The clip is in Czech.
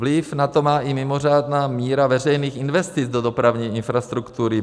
Vliv na to má i mimořádná míra veřejných investic do dopravní infrastruktury.